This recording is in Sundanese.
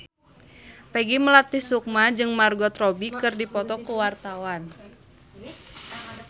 Peggy Melati Sukma jeung Margot Robbie keur dipoto ku wartawan